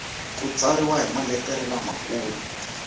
ku tsariwa hi maletere lamakulu